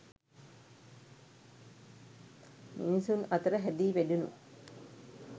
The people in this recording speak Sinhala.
මිනිසුන් අතර හැදී වැඩුණු